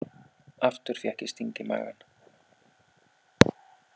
Aftur fékk ég sting í magann.